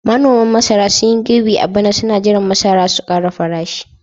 manoman masara sun yi girbi a bana suna jiran masara su kara farashi